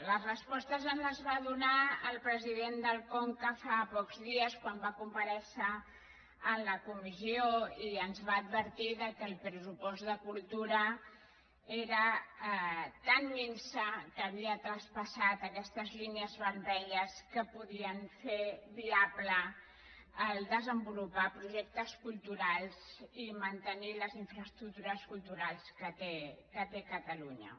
les respostes ens les va donar el president del conca fa pocs dies quan va comparèixer en la comissió i ens va advertir que el pressupost de cultura era tan minso que havia traspassat aquestes línies vermelles que podien fer viable desenvolupar projectes cultu rals i mantenir les infraestructures culturals que té catalunya